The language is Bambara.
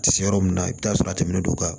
A tɛ se yɔrɔ min na i bɛ t'a sɔrɔ a tɛmɛnen don ka